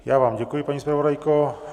Já vám děkuji, paní zpravodajko.